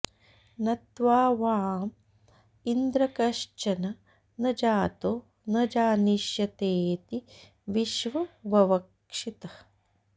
न त्वावाँ॑ इन्द्र॒ कश्च॒न न जा॒तो न ज॑निष्य॒तेऽति॒ विश्वं॑ ववक्षिथ